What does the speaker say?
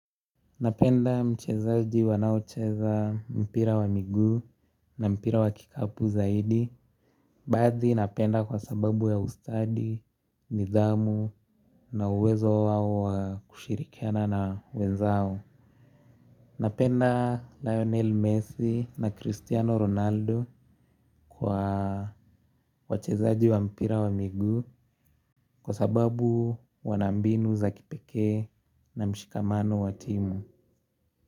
Napenda mchezaji wanaocheza mpira wa miguu na mpira wa kikapu zaidi. Baadhi napenda kwa sababu ya ustadi, nidhamu na uwezo wao wa kushirikiana na wenzao. Napenda Lionel Messi na Cristiano Ronaldo kwa wachezaji wa mpira wa miguu kwa sababu wana mbinu za kipekee na mshikamano wa timu.